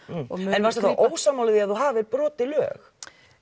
en varstu þá ósammála því að þú hafir brotið lög